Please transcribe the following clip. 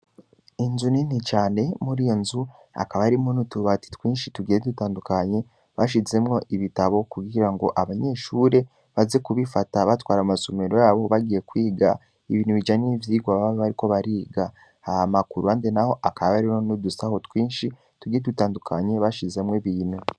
Inzu nini cane, muri iyo nzu, hakaba harimwo n'utubati twinshi tugiye dutandukanye, bashizemwo ibitabo, kugira ngo abanyeshure, baze kubifata, batwara mu masomero yabo, bagiye kwiga, ibintu bijanye n'ivyigwa baba bariko bariga, hama ku ruhande naho, hakaba hariho n'udusaho twinshi tugiye dutandukanye, bashizemwo ibintu.